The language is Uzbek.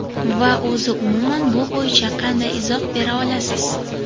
Va o‘zi umuman bu bo‘yicha qanday izoh bera olasiz?